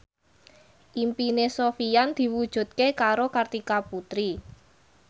impine Sofyan diwujudke karo Kartika Putri